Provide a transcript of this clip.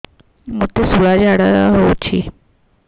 ମୋତେ ଶୂଳା ଝାଡ଼ା ହଉଚି